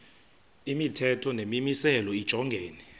imithetho nemimiselo lijongene